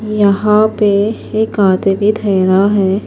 .یحیٰ پی ایک آدمی ٹھہرا ہیں